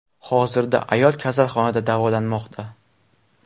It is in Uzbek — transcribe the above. Hozirda ayol kasalxonada davolanmoqda.